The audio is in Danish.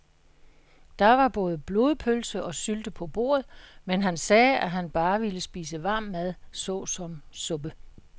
Der var både blodpølse og sylte på bordet, men han sagde, at han bare ville spise varm mad såsom suppe.